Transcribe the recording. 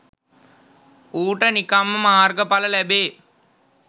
ඌට නිකංම මාර්ග ඵල ලැබේ